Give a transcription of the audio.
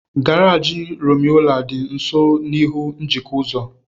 Garaji Rumuọla dị nso n'ihu njikọ ụzọ.